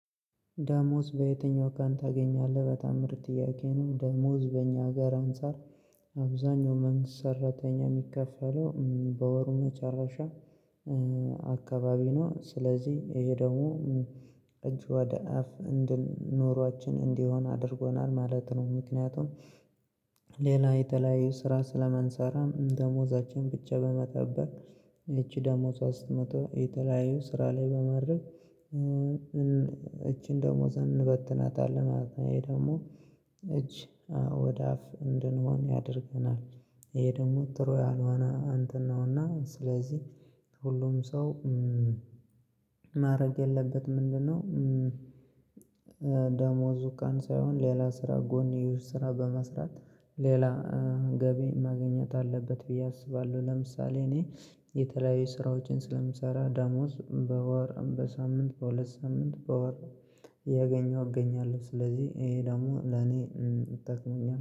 ደሞዝ በየትኛው ቀን ታገኛለህ በጠም ምርጥ ጥያቄ ነው? ደሞዝ በእኛ አገር አንፃር አብዛኛው መንግስት ሰራተኛ የሚከፈለው በወሩ መጨረሻ አካባቢ ነው። ስለዚህ ይሄ ደግሞ እጅ ወደ አፍ እንድን ኑሯችን እንዲሆን አድርጎናል ማለት ነው። ምክንያቱም ሌላ የተለያዩ ስራ ስለማንሰራ ደሞዛችን ብቻ በመጠበቅ ይቺ ደሞዝዋ ስትመጣ የተለያየ ስራ ላይ በማድረግ እቺን ደሞዝ እንበትናታለን። እኔ ደግሞ እጅ ወደ አፍ እንድንሆን ያደርገናል ይሄ ደግሞ ጥሩ ያልሆነ እንተን ነው። እና ስለዚህ ሁሉም ሰው ማድረግ የለበትም። ምንድነው? ደሞዙ ቀን ሳይሆን ሌላ ስራ ጎኔዎች በመስራት ሌላ ገቢ ማግኘት አለበት ብዬ አስባለሁ። ለምሳሌ እኔ የተለያዩ ስራዎችን ስለምሰራ ደሞዝ በወር በሳምንት በሁለት ሳምንት በወር እያገኘው እገኛለሁ። ስለዚህ ይሄ ደግሞ ለኔ ጠቅሞኛል